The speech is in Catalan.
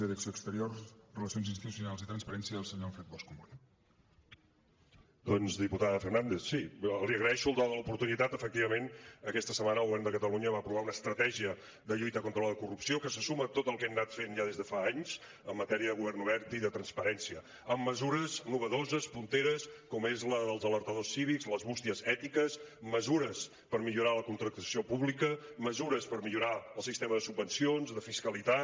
doncs diputada fernández sí li agraeixo el do de l’oportunitat efectivament aquesta setmana el govern de catalunya va aprovar una estratègia de lluita contra la corrupció que se suma a tot el que hem anat fent ja des de fa anys en matèria de govern obert i de transparència amb mesures innovadores punteres com són la dels alertadors cívics les bústies ètiques mesures per millorar la contractació pública mesures per millorar el sistema de subvencions de fiscalitat